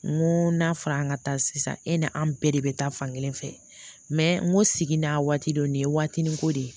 N ko n'a fara an ka taa sisan e ni an bɛɛ de bɛ taa fan kelen fɛ n ko sigi n'a waati don nin ye waatinin ko de ye